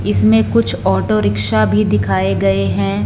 इसमें कुछ auto rickshaw भी दिखाए गए हैं।